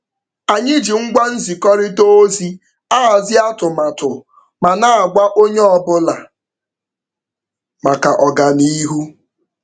Anyị ji ngwa nzikọrịta ozi ahazi atụmatụ ma na-agwa onye ọbụla maka ọganiihu